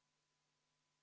V a h e a e g